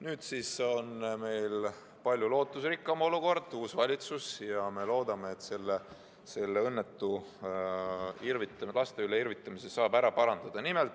Nüüd on meil palju lootusrikkam olukord, uus valitsus, ja me loodame, et selle õnnetu laste üle irvitamise saab ära parandada.